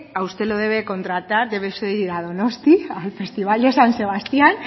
a usted lo debe contratar de debe de usted ir a donostia al festival de san sebastián